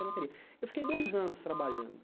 Eu não queria eu fiquei dois anos trabalhando.